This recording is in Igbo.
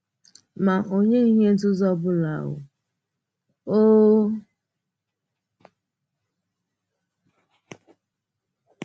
Mà ọ nyèghị ihe nzùzó ọ bụla um